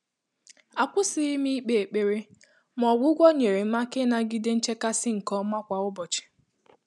Àkwụ́sị́ghị́ m íkpé ékpèré, mà ọ́gwụ́gwọ́ nyèrè m áká ị́nàgídé nchékàsị́ nké ọ́mà kwá ụ́bọ̀chị̀.